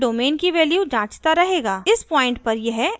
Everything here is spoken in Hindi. इस पॉइंट पर यह else स्टेटमेंट का सामना करेगा